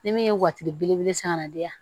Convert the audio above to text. Ni min ye watiri belebele san ka na di yan